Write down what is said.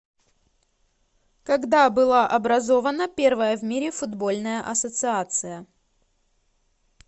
когда была образована первая в мире футбольная ассоциация